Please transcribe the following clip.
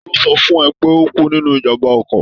Ta ló sọ fún ẹ pé ó kú nínú ijàm̀bá ọkọ̀?